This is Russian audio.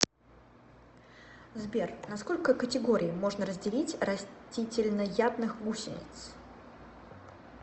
сбер на сколько категорий можно разделить растительноядных гусениц